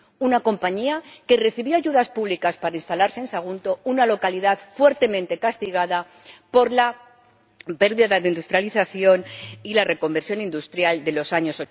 Una compañía que recibió ayudas públicas para instalarse en Sagunto, una localidad fuertemente castigada por la pérdida de industrialización y por la reconversión industrial de los años